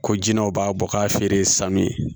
Ko jinɛw b'a bɔ k'a feere san min ye